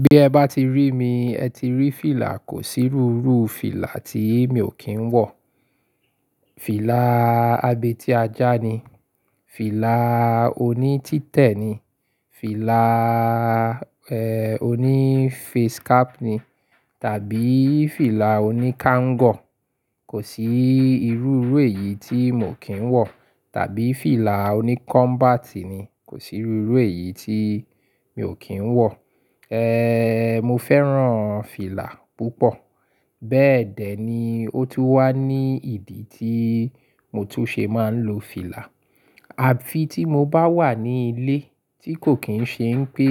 Bí ẹ bá ti rí mi, ẹ ti rí fìlà, kò s'irúurúu fìlà tí mi ò kí ń wọ̀. Fìlà abetí ajá ni, fìlà oní títẹ̀ ni, fìlà, ehn, oní face cap ni tàbí fìlà oní kangọ̀. Kò sí irúurú èyí tí mo kì ń wọ̀ tàbí fìlà oní kombat ni, kò sí rúurú èyí tí mi ò kí ń wọ̀. Ehn, mo fẹ́ràn fìlà púpọ̀. Bẹ́ẹ̀dẹ́ ni ó tún wà ní ìdí tí mo tún ṣe máa ń lo fìlà. Àfi tí mo bá wà ní ilé tí kò kín ṣe ń pé,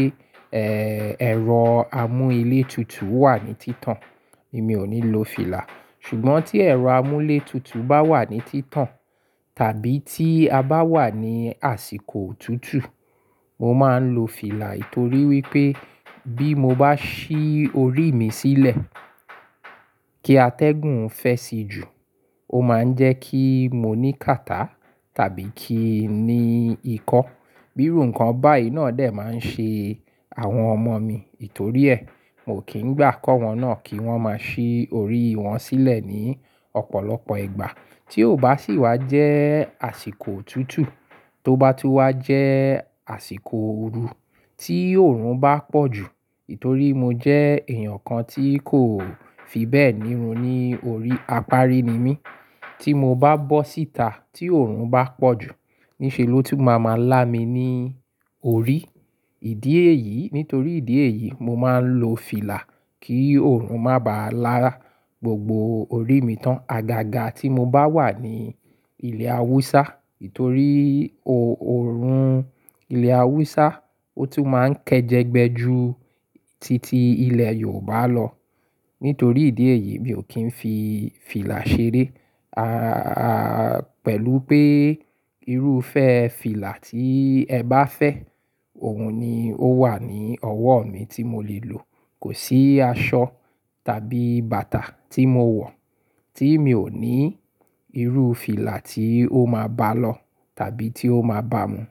ehn, ẹ̀rọ amú ilé tutù wà ní títàn, èmi ò ní lo fìlà. Ṣùgbọ́n tí ẹ̀rọ amú ilé tutù bá wà ní títàn tàbí tí a bá wà ní àsìkò òtútù, mo máa ń lo fìlà ítorí wípé bí mo bá ṣí orí mi sílẹ̀ kí atẹ́gùn fẹ́ sì jù, ó máa ń jẹ́ kí mo ní kàtá tàbí kí n ni ikọ́. Bírú nkán bá i náà dè máa ń ṣe àwọn ọmọ mi. Nítorí ẹ́, mo kì ń gbà kọ́ wọn náà kí wọn máa ṣí orí wọn sílẹ̀ ní ọ̀pọ̀lọpọ̀ ìgbà. Tí ó bá sì wá jẹ́ àsìkò òtútù, tó bá tún wá jẹ́ àsìkò ooru, tí òórùn bá pọ̀ jù, nítorí mo jẹ́ èèyàn kan tí kò fi bẹ́ẹ̀ nírun ní orí, apárí ni mí. Tí mo bá bọ́ síta tí òórùn bá pọ̀ jù, níṣe ló tún máa máa lá mi ní orí. Ìdí èyí, nítorí ìdí èyí, mo máa ń lo fìlà kí òórùn má bá lá gbogbo orí mi tán. Agaga tí mo bá wà ní ilẹ̀ Awúsá, nítorí o-òórùn ilẹ̀ Awúsá ó tún máa ń kẹjẹgbẹ ju titi ilẹ̀ Yorùbá lọ. Nítorí ìdí èyí, mi ò kí ń fi fìlà ṣeré, a-a, pẹ̀lú pé irúfẹ́ fìlà tí ẹ bá fẹ́, òun ni ó wà ní ọwọ́ mi tí mo lè lò. Kò sí aṣọ tàbí bàtà tí mo wọ̀ tí mi ò ní irú fìlà tí ó máa bá lọ tàbí tí ó máa bá mu.